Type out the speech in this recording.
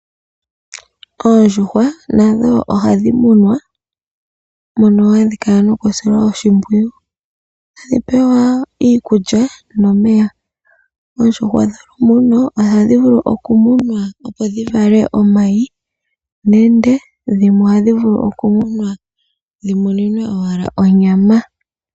Oondjuhwa nadho ohadhi munwa mono hadhi kala nokusilwa oshimpwiyu. Ohadhi pewa iikulya nomeya. Oondjuhwa dholumuno ohadhi vulu okumunwa, opo dhi vale omayi nenge dhimwe ohadhi vulu okumunwa dhi muninwe owala onyama.